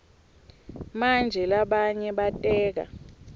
manje labanye bateka